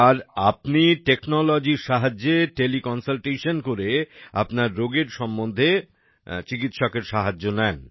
আর আপনি টেকনোলজির সাহায্যে টেলিকনসালটেশন করে আপনার রোগের সম্বন্ধে সাহায্য নেন